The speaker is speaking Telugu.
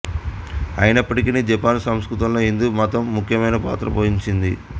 అయినప్పటికీ జపాన్ సంస్కృతిలో హిందూ మతం ముఖ్యమైన పాత్ర పోషించింది